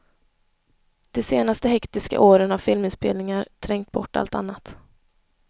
De senaste hektiska åren har filminspelningar trängt bort allt annat.